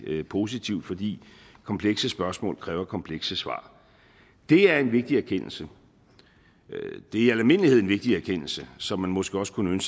positivt fordi komplekse spørgsmål kræver komplekse svar det er en vigtig erkendelse det er i al almindelighed en vigtig erkendelse som man måske også kunne